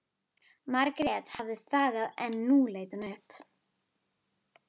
Margrét hafði þagað en nú leit hún upp.